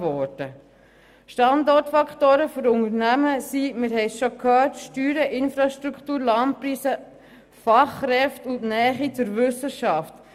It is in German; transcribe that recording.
Wie wir bereits gehört haben, sind die Standortfaktoren für Unternehmen Steuern, Infrastruktur, Landpreise, Fachkräfte und die Nähe zur Wissenschaft.